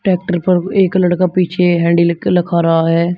Tractor पर एक लड़का पीछे हैंडल लेके लखा रहा है।